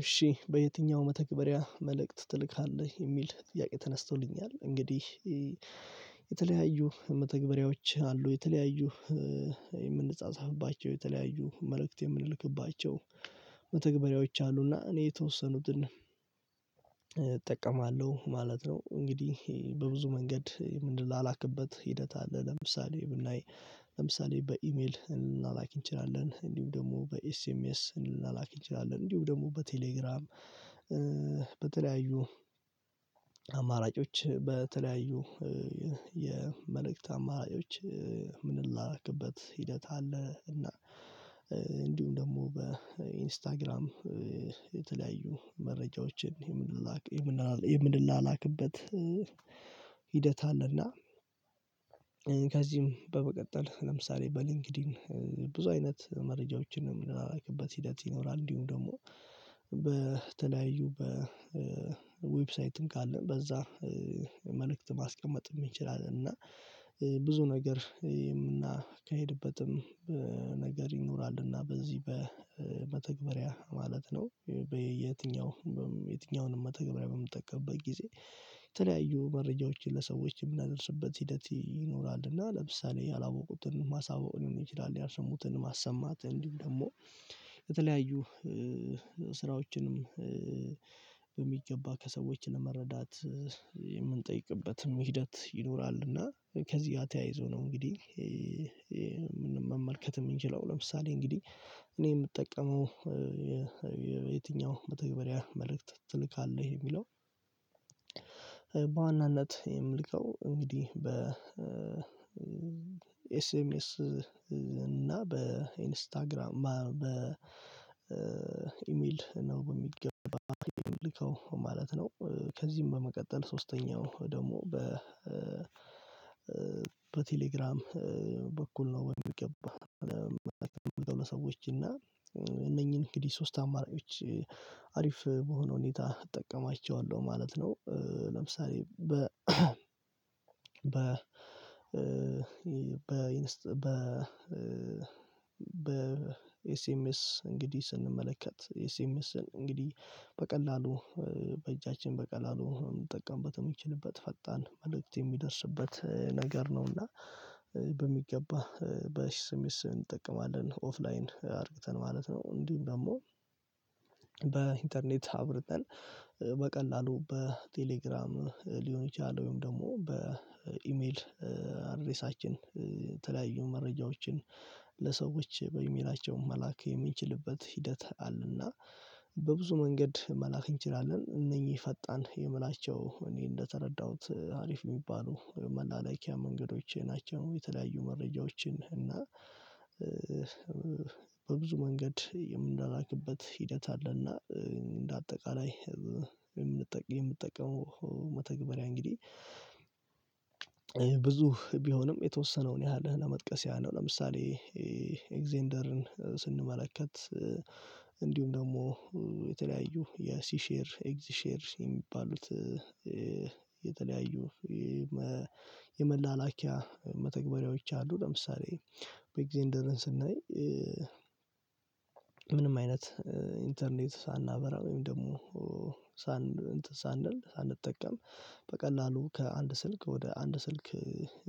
እሺ በየትኛው መተግበሪያ መልእክት ትልካለህ የሚል ጥያቄ ተነስቶልኛል። እንግዲህ የተለያዩ መተግበሪያዎች አሉ። የተለያዩ የምንጻጻፍባቸው የተለያዩ መልእክት የምንልክባቸው መተግበሪያዎች አሉና እኔ የተወሰኑትን እጠቀማለሁ ማለት ነው። እንግዲህ በብዙ መንገድ ምን ላላክበት ሂደት አለ። ለምሳሌ ብናይ ለምሳሌ በኢሜል ልንላላክ እንችላለን። እንዲሁም ደግሞ በኤስኤምኤስ ልንላላክ እንችላለን። እንዲሁም ደግሞ በቴሌግራም በተለያዩ አማራጮች በተለያዩ የመልእክት አማራጮች የምንላላክበት ሂደት አለ። እና ደግሞ በኢንስታግራም የተለያዩ መረጃዎችን የምንላላክበት ሂደት አለና። ከዚህም በመቀጠል ለምሳሌ በሊንክዲን ብዙ አይነት መረጃዎችንም ምንላላክበት ሂደት ይኖራል። እንዲሁም ደግሞ በተለያዩ በዌብሳይትም ካልነ በዛ መልእክት ማስቀመጥ ይችላል። እና ብዙ ነገር የምናካሂድበትም ነገር ይኖራል። እና በዚህ በመተግበሪያ ማለት ነው። በየትኛው የትኛውንም መተግበሪያ በምትጠቀምበት ጊዜ የተለያዩ መረጃዎችን ለሰዎች የምናደርስበት ሂደት ይኖራል። እና ለምሳሌ ያላወቁትን ማሳወቅ ሊሆን ይችላል። ያልሰሙትን ማሰማት እንዲሁም ደግሞ የተለያዩ ስራዎችንም በሚገባ ከሰዎች ለመረዳት የምንጠይቅበትም ሂደት ይኖራል። እና ከዚህ ተያይዞ ነው። እንግዲህ መመልከት የምንችለው ለምሳሌ እንግዲህ እኔ የምጠቀመው የትኛው በተግባሪያ መልእክት ትልካለህ የሚለው በዋናነት የምልከው እንግዲህ በኤስኤምኤስ እና በኢንስታግራም በኢሜል ነው በሚገባ የሚልከው ማለት ነው። ከዚህም በመቀጠል ሶስተኛው ደግሞ በ በቴሌግራም በኩል ነው። በሚገባ ለመላክ የምሞክረው ለሰዎች እና እነኚህን እንግዲህ ሶስት አማራጮች አሪፍ በሆነ ሁኔታ እጠቀማቸዋለሁ ማለት ነው። ለምሳሌ በ በ በ በ በ በ ኤስኤምኤስ እንግዲህ ስንመለከት ኤስኤምኤስን እንግዲህ በቀላሉ በእጃችን በቀላሉ ምንጠቀምበት የሚችልበት ፈጣን መልእክት የሚደርስበት ነገር ነው። እና በሚገባ በስሜት ስም እንጠቀማለን ኦፍላይን አድርግተን ማለት ነው። እንዲሁም ደግሞ በኢንተርኔት አብርተን በቀላሉ በቴሌግራም ሊሆን ይችላል። ወይም ደግሞ በኢሜል አድሬሳችን የተለያዩ መረጃዎችን ለሰዎች በኢሜላቸው መላክ የሚችልበት ሂደት አለ። እና በብዙ መንገድ መላክ እንችላለን እነህኚ ፈጣን የምላቸው እኔ እንደተረዳሁት አሪፍ የሚባሉ መላላኪያ መንገዶቼ ናቸው። የተለያዩ መረጃዎችን እና በብዙ መንገድ የምንላላክበት ሂደት አለና። እንደ አጠቃላይ የምንጠቀመው መተግበሪያ እንግዲህ ብዙ ቢሆንም የተወሰነውን ያህል ለመጥቀስ ያህል ነው። ለምሳሌ ኤግዘንደርን ስንመለከት እንዲሁም ደግሞ የሲ ሼር ኤግዚ ሼር የሚባሉት የተለያዩ የመላላኪያ መተግበሪያዎች አሉ። ለምሳሌ በኤግዘንደርን ስናይ ምንም አይነት ኢንተርኔት ሳናበራ ወይም ደግሞ ኤንትን ሳንል ሳንጠቀም በቀላሉ ከአንድ ስልክ ወደ አንድ ስልክ